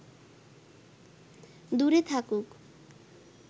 দূরে থাকুক